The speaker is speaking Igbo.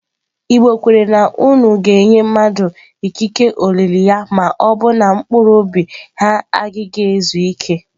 Igbo kwere na unu ga-enye mmadụ ikike olili ya ma ọ bụ na mkpụrụ obi ha agaghị ezu ike.